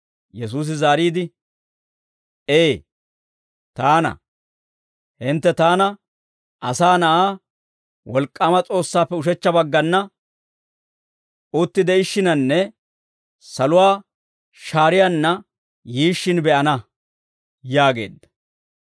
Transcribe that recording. Yesuusi zaariide, «Ee, taana; hintte taana, Asaa Na'aa, wolk'k'aama S'oossaappe ushechcha baggana uttide'ishshinanne saluwaa shaariyaanna yiishshin be'ana» yaageedda.